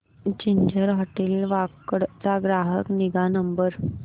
ginger hotel Wakad चा ग्राहक निगा नंबर